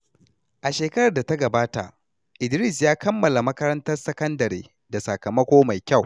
A shekarar da ta gabata, Idris ya kammala makarantar sakandare da sakamako mai kyau.